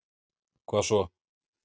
hvað svo?